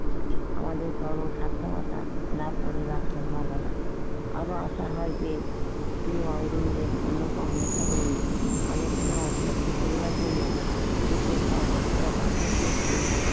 আমাদের চরম সার্থকতা লাভ করিবার সম্ভবনা আরও অসহায় যে লেখা গুলি আলোচনা উপলব্ধি করার জন্য যে সব পাঠক গোষ্ঠী